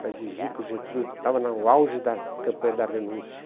para exigir que o Getúlio estava no auge da campanha da renúncia.